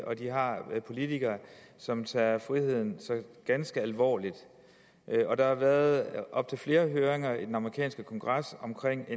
og at de har politikere som tager friheden ganske alvorligt der har været op til flere høringer i den amerikanske kongres om